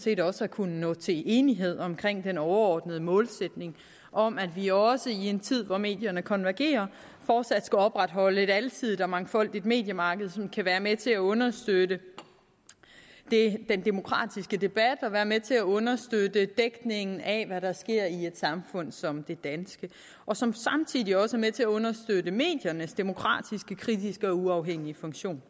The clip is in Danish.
set også have kunnet nå til enighed om den overordnede målsætning om at vi også i en tid hvor medierne konvergerer fortsat skal opretholde et alsidigt og mangfoldigt mediemarked som kan være med til at understøtte den demokratiske debat og som kan være med til at understøtte dækningen af hvad der sker i et samfund som det danske og som samtidig også er med til at understøtte mediernes demokratiske kritiske og uafhængige funktion